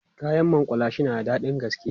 kayan makullashe na da daɗin gaske